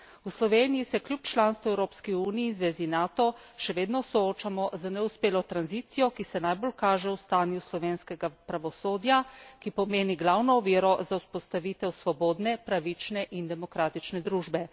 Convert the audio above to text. V Sloveniji se kljub članstvu v Evropski uniji in zvezi Nato še vedno soočamo z neuspelo tranzicijo, ki se najbolj kaže v stanju slovenskega pravosodja, ki pomeni glavno oviro za vzpostavitev svobodne, pravične in demokratične družbe.